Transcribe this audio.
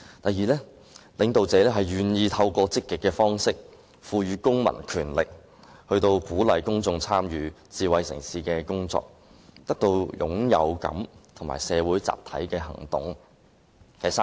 第二，領導者願意透過積極方式，賦予公民權力，鼓勵公眾參與智慧城市的工作，因而得到歸屬感及參與社會集體行動的滿足感。